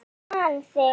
Ég man þig.